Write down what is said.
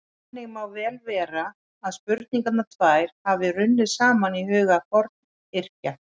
Þannig má vel vera að spurningarnar tvær hafi runnið saman í huga Forngrikkja.